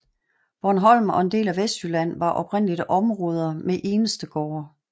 Bornholm og en del af Vestjylland var oprindeligt områder med enestegårde